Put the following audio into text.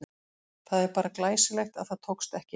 Það er bara glæsilegt að það tókst ekki!